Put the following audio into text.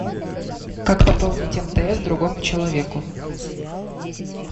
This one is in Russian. как пополнить мтс другому человеку